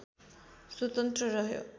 स्वतन्त्र रह्यो